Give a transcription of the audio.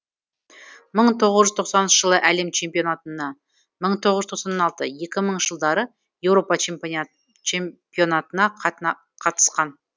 мың тоғыз жүз тоқсаныншы жылы әлем чемпионатына мың тоғыз жүз тоқсан алты екі мыңыншы жылдары еуропа чемпионатына қатысқан